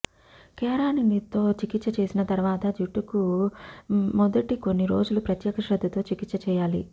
కేరాటిన్తో చికిత్స చేసిన తర్వాత జుట్టుకు మొదటి కొన్ని రోజులు ప్రత్యేక శ్రద్ధతో చికిత్స చేయాలి